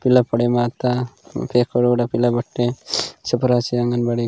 किला पड़े माता केकड़ो डब पीला बटे सुपरवाईस आंगनबाड़ी --